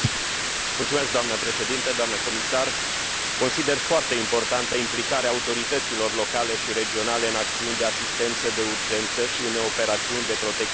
Doamnă președintă, doamnă comisar, consider foarte importantă implicarea autorităților locale și regionale în acțiuni de asistență de urgență și în operațiuni de protecție civilă.